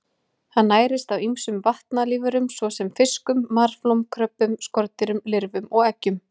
Hann nærist á ýmsum vatnalífverum svo sem fiskum, marflóm, kröbbum, skordýrum, lirfum og eggjum.